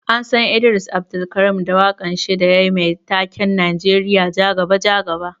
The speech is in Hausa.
An San Idris Abdulkareem da wakan shi da yayi Mai taken 'Najeriya jaga jaga'.